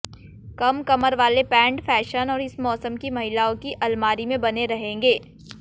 कम कमर वाले pant fashion और इस मौसम की महिलाओं की अलमारी में बने रहेंगे